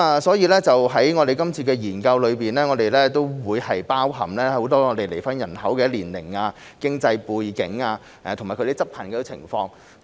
所以，在本次研究中，我們會包含離婚人口的年齡、經濟背景和執行情況。